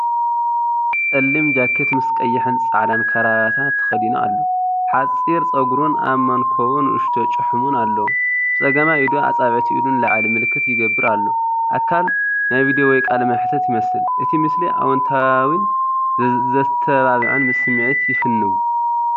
ጸሊም ጃኬት ምስ ቀይሕን ጻዕዳን ክራቫታ ተኸዲኑ ኣሎ። ሓጺር ጸጉሩን ኣብ መንኵቡ ንእሽቶ ጭሕሙን ኣለዎ። ብጸጋማይ ኢዱ ኣጻብዕቲ ኢዱ ንላዕሊ ምልክት ይገብር ኣሎ። ኣካል ናይ ቪድዮ ወይ ቃለ መሕትት ይመስል። እቲ ምስሊ ኣወንታዊን ዘተባብዕን ስምዒት ይፍንው፤